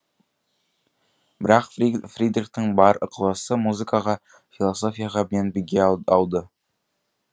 бірақ фридрихтің бар ықыласы музыкаға философияға бен биге ауды